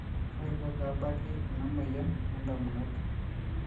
kaiko peebaki ena moyian oondamunot